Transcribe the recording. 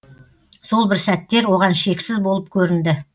сол бір сәттер оған шексіз болып көрінді